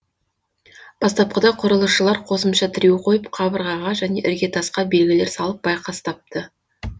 бастапқыда құрылысшылар қосымша тіреу қойып қабырғаға және іргетасқа белгілер салып байқастапты